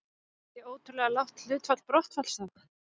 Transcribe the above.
Er það ekki ótrúlega lágt hlutfall brottfalls þá?